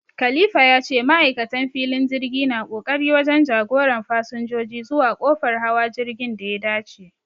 Khalifa ya ce ma'aikatan filin jirgi na ƙoƙari wajen jagoran fasinjoji zuwa kofar hawa jirgin da ya dace